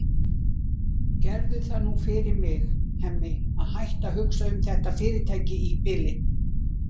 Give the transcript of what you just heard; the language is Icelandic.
Gerðu það nú fyrir mig, Hemmi, að hætta að hugsa um þetta fyrirtæki í bili.